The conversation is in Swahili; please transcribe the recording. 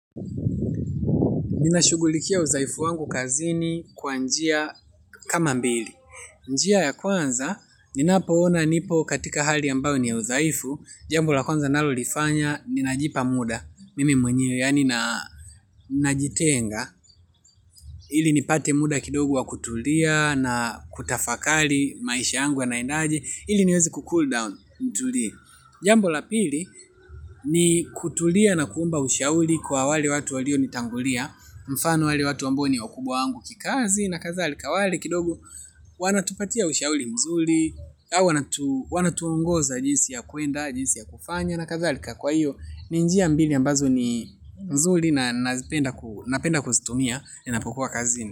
Ninashugulikia udhaifu wangu kazini kwa njia kama mbili. Njia ya kwanza, ninapoona nipo katika hali ambao ni ya udhaifu. Jambo la kwanza nalolifanya, ninajipa muda. Mimi mwenyewe yaani najitenga. Ili nipate muda kidogo wa kutulia na kutafakari maisha yangu yanaendaje ili niweze kucool down, nitulie. Jambo la pili, ni kutulia na kuomba ushauri kwa wale watu walio nitangulia. Mfano wale watu ambao ni wakubwa wangu kikazi na kadhalika wale kidogo wanao tupatia ushauri mzuri wanatuongoza jinsi ya kwenda jinsi ya kufanya na kadh alika kwa hiyo ni njia mbili ambazo ni mzuri na napenda kuzitumia ninapokuwa kazini.